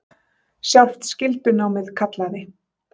Sjálft skyldunámið kallaði.